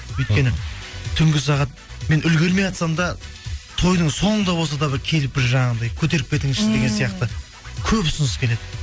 өйткені түнгі сағат мен үлгірмейатсам да тойдың соңында болса да бір келіп бір жаңағындай көтеріп кетіңізші деген сияқты көп ұсыныс келеді